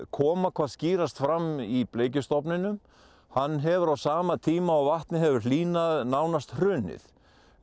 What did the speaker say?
koma hvað skýrast fram í bleikjustofninum hann hefur á sama tíma og vatnið hefur hlýnað nánast hrunið